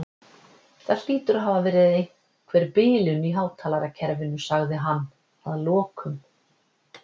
Það hlýtur að hafa verið einhver bilun í hátalarakerfinu sagði hann að lokum.